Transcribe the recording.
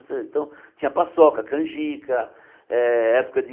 Então tinha paçoca, canjica, eh época de...